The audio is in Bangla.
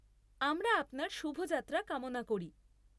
আমরা আপনার শুভ যাত্রা কামনা করি।